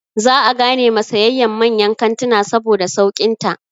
Za a gane ma sayayyan manyan kantina saboda sauƙin ta.